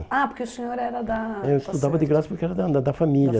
Ah, porque o senhor era da... está certo. Eu estudava de graça porque era da da família.